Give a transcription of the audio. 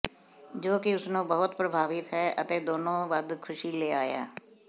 ਜੋ ਕਿ ਉਸ ਨੂੰ ਬਹੁਤ ਪ੍ਰਭਾਵਿਤ ਹੈ ਅਤੇ ਦੋਨੋ ਵੱਧ ਖੁਸ਼ੀ ਲੈ ਆਇਆ